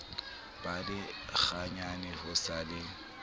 ba lekganyane ho sa le